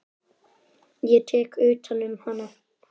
Ég tek utan um hana.